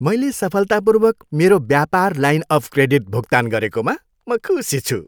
मैले सफलतापूर्वक मेरो व्यापार लाइन अफ क्रेडिट भुक्तान गरेकोमा म खुसी छु।